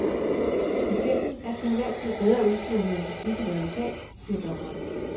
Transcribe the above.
Patienten er til enhver tid bedre udstyret med en beskikket advokat, siger dommeren.